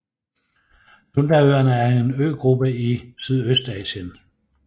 Sundaøerne er en øgruppe i Sydøstasien